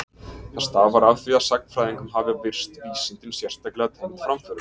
Það stafar af því að sagnfræðingum hafa virst vísindin sérstaklega tengd framförum.